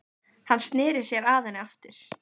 Hann sneri sér að henni aftur.